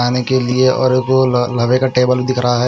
खाने के लिए और गोल ल लवे का टेबल दिख रहा है।